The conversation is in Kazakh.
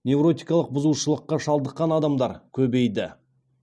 невротикалық бұзушылыққа шалдыққан адамдар көбейді